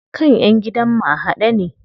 Kan ƴan gidan mu a haɗe ne.